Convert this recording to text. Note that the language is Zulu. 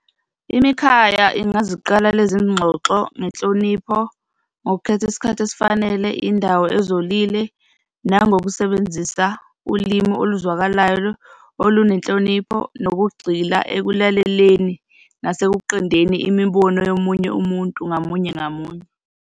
Imikhaya ingaziqala lezi ngxoxo ngenhlonipho, ngokukhetha isikhathi esifanele, indawo ezolile, nangokusebenzisa ulimi oluzwekayo, olunenhlonipho, nokugxila ekulaleleni, nasekuqondeni imibono yomunye umuntu ngamunye ngamunye.